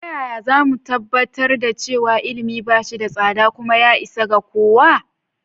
Ta yaya za mu tabbatar da cewa ilimi ba shi da tsada kuma ya isa ga kowa?